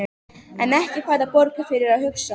En ekki færðu borgað fyrir að hugsa?